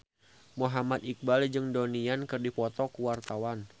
Muhammad Iqbal jeung Donnie Yan keur dipoto ku wartawan